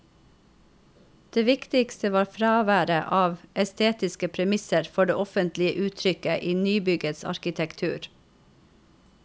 Det viktigste var fraværet av estetiske premisser for det offentlige uttrykket i nybyggets arkitektur.